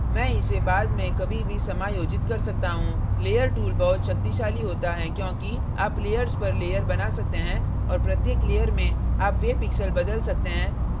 layer tool बहुत शक्तिशाली होता है क्योंकि आप layers पर layer बना सकते हैं और प्रत्येक layer में आप वे pixels बदल सकते हैं जो निचली layer से ऊपर आ रहे हैं